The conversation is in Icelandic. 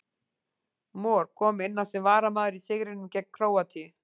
Mor kom inn á sem varamaður í sigrinum gegn Króatíu.